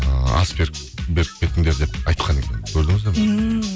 ыыы ас беріп кетіңдер деп айтқан екен көрдіңіздер ме ммм